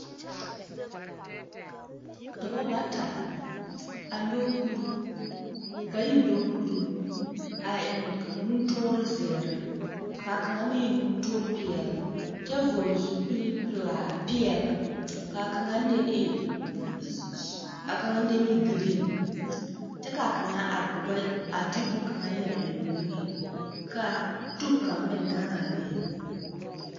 Dɔbɔ bata la a nyɔge kuruu, bayi nyɔge kuruu a eŋ nutoore zeere ka kaŋa meŋ nutoore peɛle kyɛ vɔgele zupili pelaa, peɛle. Ka kaŋa deni e g.. z.. s.. a kaŋa deni giriiŋ kyɛ ka kaŋa aare o ba y… a de bone kaŋa yɛre eŋ o niŋe. Ka tub kaŋa meŋ gaŋe a be.